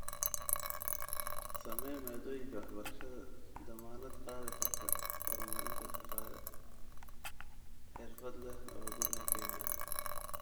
Samee maaddooyinka waxbarashada dammaanad qaadi karta horumarinta shaqaale xirfad leh oo gudaha Kenya ah.